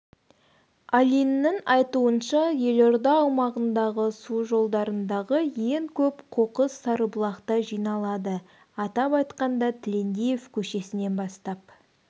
алинның айтуынша елорда аумағындағы су жолдарындағы ең көп қоқыс сарыбұлақта жиналады атап айтқанда тілендиев көшесінен бастап